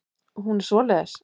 Hún er svoleiðis.